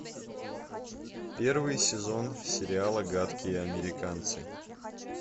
первый сезон сериала гадкие американцы